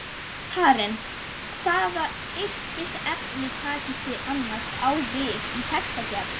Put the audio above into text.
Karen: Hvaða yrkisefni takist þið annars á við í textagerð?